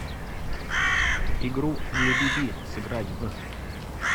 игру небиби сыграть в